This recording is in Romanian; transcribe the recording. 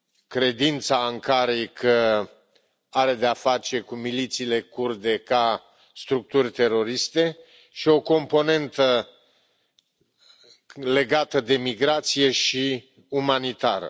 credința Ankarei că are de-a face cu milițiile kurde ca structuri teroriste, și o componentă legată de migrație și umanitară.